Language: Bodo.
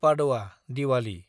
पादोआ (डिवालि)